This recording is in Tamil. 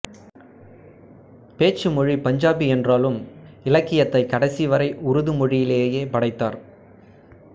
பேச்சு மொழி பஞ்சாபி என்றாலும் இலக்கியத்தை கடைசி வரை உருது மொழியிலேயே படைத்தார்